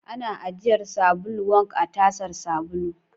Ana ajiyar sabulu wank a tasar sabulu.